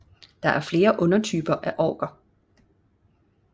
Der er flere undertyper af Orker